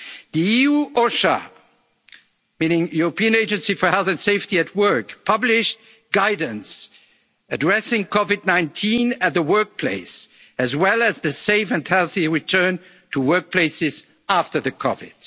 seasonal workers. The EU European Agency for Health and Safety at Work has published guidance addressing COVID-19 at the workplace, as well as the safe and healthy return to workplaces